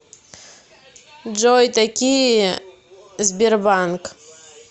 джой такие сбербанк